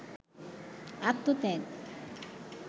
আত্মত্যাগ